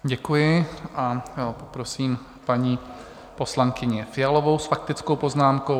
Děkuji a poprosím paní poslankyni Fialovou s faktickou poznámkou.